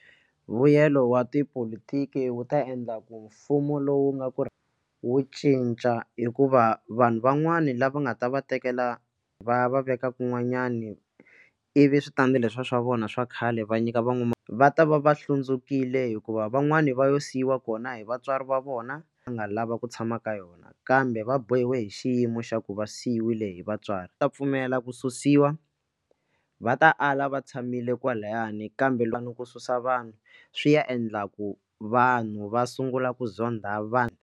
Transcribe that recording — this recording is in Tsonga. Vuyelo wa tipolotiki wu ta endla ku mfumo lowu nga ku ri wu cinca hikuva vanhu van'wani lava nga ta va tekela va ya va veka kun'wanyani ivi switandi le swa swa vona swa khale va nyika van'wana va ta va va hlundzukile hikuva van'wani va yo siyiwa kona hi vatswari va vona va nga lava ku tshama ka yona kambe va bohiwe hi xiyimo xa ku va siviwile hi vatswari ta pfumela ku susiwa va ta ala va tshamile kwalayani kambe lwa ni ku susa vanhu swi ya endla ku vanhu va sungula ku zonda vanhu.